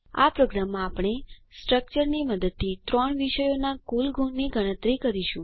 આ પ્રોગ્રામમાં આપણે સ્ટ્રક્ચરની મદદથી ત્રણ વિષયોના કુલ ગુણની ગણતરી કરીશું